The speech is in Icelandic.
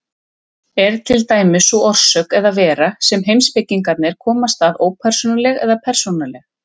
Er til dæmis sú orsök eða vera sem heimspekingarnir komast að ópersónuleg eða persónuleg?